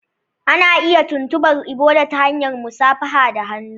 Ana iya tuntubar Ebola ta hanyar musafaha da hannu.